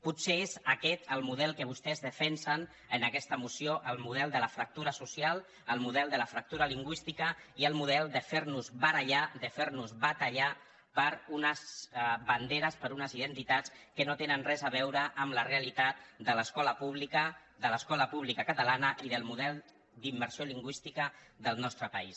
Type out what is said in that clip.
potser és aquest el model que vostès defensen en aquesta moció el model de la fractura social el model de la fractura lingüística i el model de fer nos barallar de fer nos batallar per unes banderes per unes identitats que no tenen res a veure amb la realitat de l’escola pública de l’escola pública catalana i del model d’immersió lingüística del nostre país